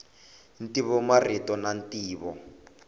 ntivo marito na ntivo